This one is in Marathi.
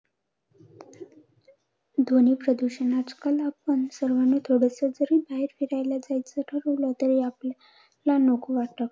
ध्वनी प्रदूषण! आजकाल आपण सर्वांनी, थोडसं जरी बाहेर फिरायला जायचं ठरवलं तरी आपल्याला नको वाटत.